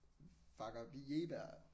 Bacob Jegeberg